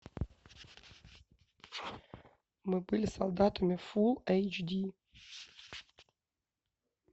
мы были солдатами фул эйч ди